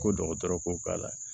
Ko dɔgɔtɔrɔ ko k'a la